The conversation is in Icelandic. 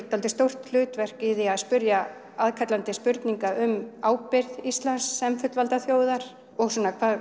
dálítið stórt hlutverk í því að spyrja aðkallandi spurninga um ábyrgð Íslands sem fullvalda þjóðar og